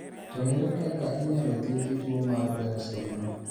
To ere kaka inyalo thiedhi tuo mar Behr syndrome?